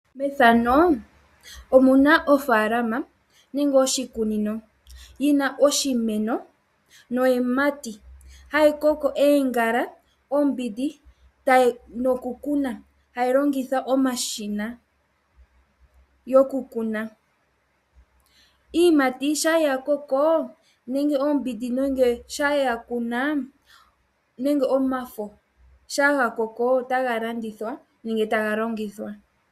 Methano omu na ofaalama nenge oshikunino yina oshimeno niiyimati hayi koko oongala omboga nokukuna ,hayi longitha omashina gokukuna . Iiyimati shampa yakoko nenge omboga shapma yakumwa nenge omafo shampa gakoko otaga landithwa nenge taga longithwa